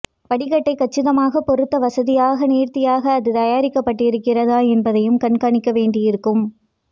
படிக்கட்டைக் கச்சிதமாகப் பொருத்த வசதியாக நேர்த்தியாக அது தயாரிக்கப்பட்டிருக்கிறதா என்பதையும் கண்காணிக்க வேண்டியிருக்கும்